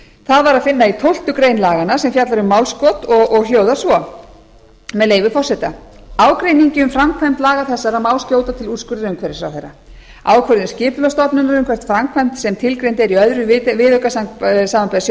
það var að finna í tólftu greinar laganna sem fjallar um málskot og hljóðar svo með leyfi forseta ágreiningi um framkvæmd laga þessara má skjóta til úrskurðar umhverfisráðherra ákvörðun skipulagsstofnunar um framkvæmd sem tilgreind er í öðrum viðauka samanber